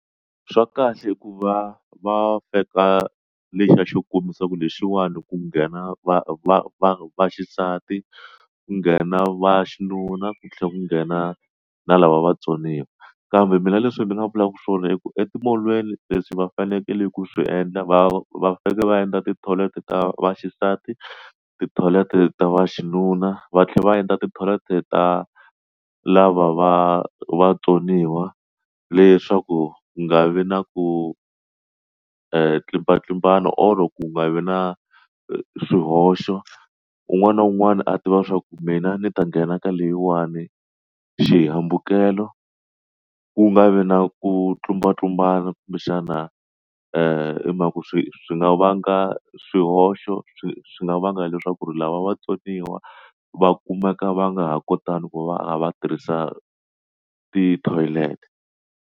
Swa kahle hikuva va veka lexa xo kombisa ku lexiwani ku nghena va va va va xisati ku nghena va xinuna ku tlhela ku nghena na lava vatsoniwa kambe mina leswi ni nga vulaka swona i ku etimolweni leswi va fanekele ku swi endla va va fika va endla ti-toilet ta va xisati ti-toilet ta va xinuna va tlhela va endla ti-toilet ta lava va vatsoniwa leswaku ku nga vi na ku ntlimbanontlimbano or ku nga vi na swihoxo un'wana na un'wana a tiva swa ku mina ni ta nghena ka leyiwani xihambukelo ku nga vi na ku tlumbatlumbana kumbexana i mhaka ku swi nga vanga swihoxo swi swi nga vanga leswaku lava vatsoniwa va kumeka va nga ha kotanga ku va va tirhisa ti-toilet.